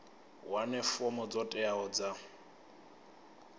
wane fomo dzo teaho dza